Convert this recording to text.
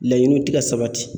Laɲiniw ti ka sabati.